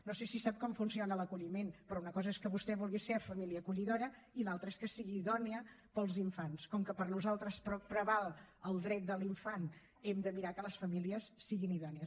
no sé si sap com funciona l’acolliment però una cosa és que vostè vulgui ser família acollidora i l’altra és que sigui idònia per als infants com que per nosaltres preval el dret de l’infant hem de mirar que les famílies siguin idònies